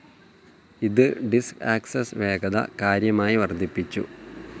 ഇത് disk access വേഗത കാര്യമായി വർദ്ധിപ്പിച്ചു.